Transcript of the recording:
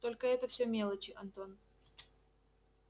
только это все мелочи антон